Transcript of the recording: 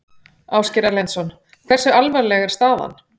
Ásgeir Erlendsson: Hversu alvarleg er staðan?